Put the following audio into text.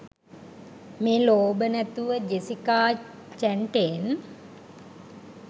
මේ ලෝභ නැතුව ජෙසිකා චැන්ටේන්